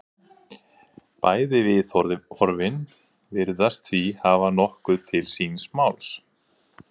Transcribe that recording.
Bæði viðhorfin virðast því hafa nokkuð til síns máls.